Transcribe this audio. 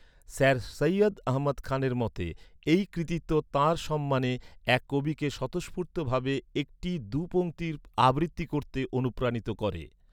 Sir Syed Ahmad খানের মতে, এই কৃতিত্ব তাঁর সম্মানে, এক কবিকে স্বতঃস্ফূর্ত ভাবে একটি দু' পংক্তি আবৃত্তি করতে অনুপ্রাণিত করে।